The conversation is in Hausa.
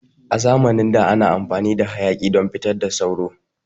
A zamanin da ana amfani da hayaƙi don fitar da sauro.